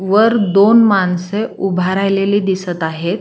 वर दोन माणसे उभा राहिलेली दिसत आहे.